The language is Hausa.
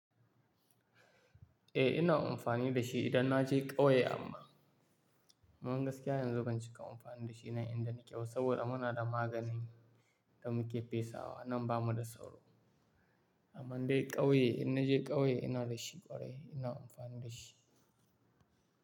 Eh ina amfani da shi idan na je ƙauye amma, aman gaskiya yanzu ban cika amfani da shi ba inda nake wa saboda muna da maganin da muke fesa wa in an ba mu da sauro. Amman dai ƙauye in na je ƙauye ina da shi ƙwarai ina amfani da shi.